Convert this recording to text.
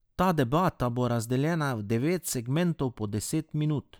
Ta debata bo razdeljena v devet segmentov po deset minut.